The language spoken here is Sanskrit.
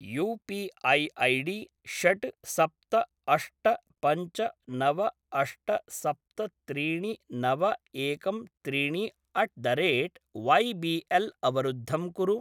यू पी ऐ ऐडी षट् सप्त अष्ट पञ्च नव अष्ट सप्त त्रीणि नव एकं त्रीणि at the rate Y B L अवरुद्धं कुरु।